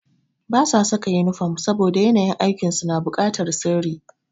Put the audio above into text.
Ba su saka inifom saboda yanayin aikin su na bukatar sirri.